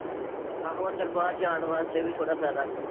ਆਹੋ ਅੰਦਰ ਬਾਹਰ ਜਾਣ ਵਾਸਤੇ ਵੀ ਥੋੜ੍ਹਾ ਫ਼ਾਇਦਾ।